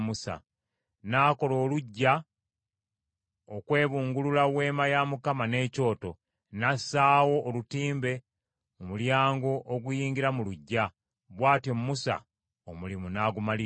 N’akola oluggya okwebungulula Weema ya Mukama n’ekyoto, n’assaawo olutimbe mu mulyango oguyingira mu luggya. Bw’atyo Musa omulimu n’agumaliriza.